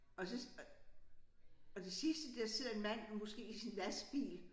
Og så og det sidste der sidder en mand måske i sin lastbil